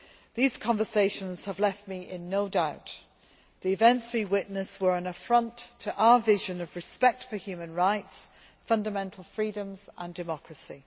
These conversations have left me in no doubt that the events we witnessed were an affront to our vision of respect for human rights, fundamental freedoms and democracy.